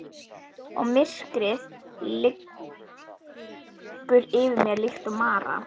Og myrkrið liggur yfir mér líkt og mara.